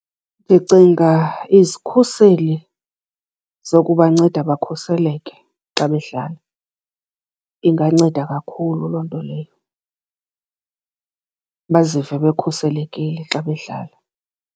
Ndicinga izikhuseli zokubanceda bakhuseleke xa bedlala. Inganceda kakhulu loo nto leyo, bazive bekhuselekile xa bedlala.